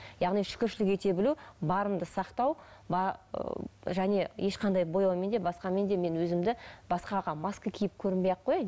яғни шүкіршілік ете білу барыңды сақтау ы және ешқандай бояумен де басқамен де мен өзімді басқаға маска киіп көрінбей ақ қояйын